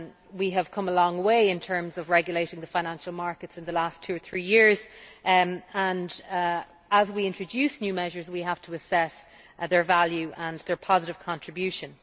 We have come a long way in terms of regulating the financial markets in the last two or three years, and as we introduce new measures we have to assess their value and their positive contribution.